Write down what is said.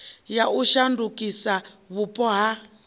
ya u shandukisa vhupo ha